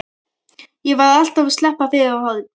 Ég var alltaf að sleppa fyrir horn.